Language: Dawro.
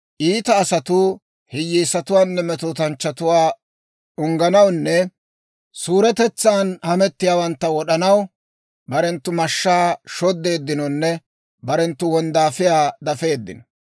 Iita asatuu hiyyeesatuwaanne metootanchchatuwaa ungganawunne suuretetsan hamettiyaawantta wod'anaw, Barenttu mashshaa shoddeeddinonne barenttu wonddaafiyaa dafeeddino.